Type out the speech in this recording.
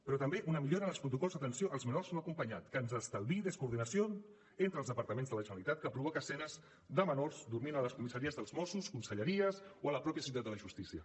però també una millora en els protocols d’atenció als menors no acompanyats que ens estalviï descoordinació entre els departaments de la generalitat que provoca escenes de menors dormint a les comissaries dels mossos conselleries o a la mateixa ciutat de la justícia